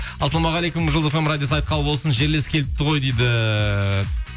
ассалаумағалейкум жұлдыз фм радиосы айт қабыл болсын жерлес келіпті ғой дейді